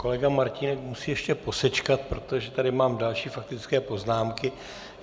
Kolega Martínek musí ještě posečkat, protože tady mám další faktické poznámky.